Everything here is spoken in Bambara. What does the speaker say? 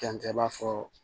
K'an cɛ b'a fɔ